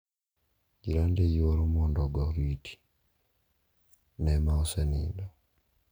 Jirande yuoro mondo ogo oriti ne ma osenindo.